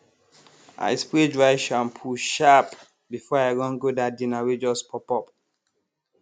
i spray dry shampoo sharp before i run go that dinner wey just pop up